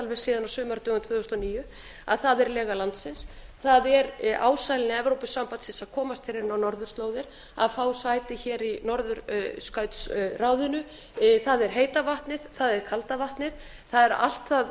síðan á sumardögum árið tvö þúsund og níu að það er lega landsins það er ásælni evrópusambandsins að komast hér inn á norðurslóðir að fá sæti hér í norðurskautsráðinu það er heita vatnið það er kalda vatnið það er allt það